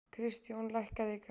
Kristjón, lækkaðu í græjunum.